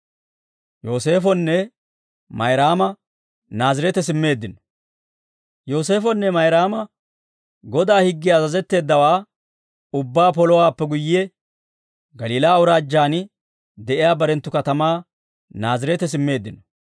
Yooseefonne Mayraama Godaa higgiyan azazetteeddawaa ubbaa polowaappe guyye Galiilaa Awuraajjaan de'iyaa barenttu katamaa Naazireete simmeeddino.